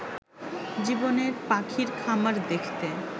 জীবনের পাখির খামার দেখতে